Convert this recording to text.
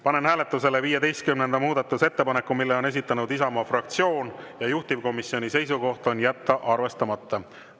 Panen hääletusele 15. muudatusettepaneku, mille on esitanud Isamaa fraktsioon, juhtivkomisjoni seisukoht on jätta see arvestamata.